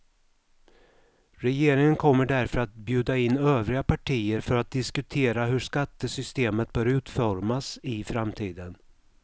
Regeringen kommer därför att bjuda in övriga partier för att diskutera hur skattesystemet bör utformas i framtiden.